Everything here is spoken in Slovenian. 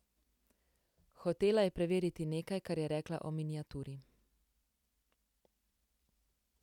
Hotela je preveriti nekaj, kar je rekla o miniaturi.